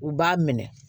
U b'a minɛ